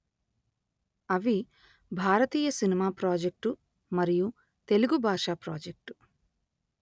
అవి భారతీయ cinema project మరియు తెలుగు బాష ప్రాజెక్టు